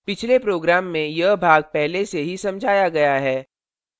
पिछले program में यह भाग पहले से ही समझाया गया है